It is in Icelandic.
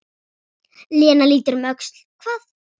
Lena lítur um öxl: Hvað?